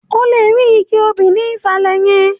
O lè rí igi obì ní ìsàlẹ̀ yẹn